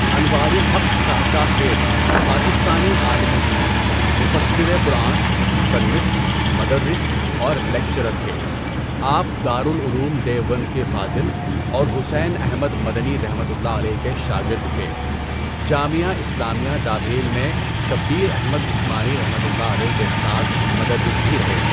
انوار الحق کاکاخیل پاکستانی عالم دین، مُفَسّرِ قرآن، مصنف، مدرس اور لیکچرر تھے۔ آپ دار العلوم دیوبند کے فاضل اور حسین احمد مدنی رحمۃ اللہ علیہ کے شاگرد تھے۔ جامعہ اسلامیہ ڈابھیل میں شبیر احمد عثمانی رحمۃ اللہ علیہ کے ساتھ مدرس بھی رہے۔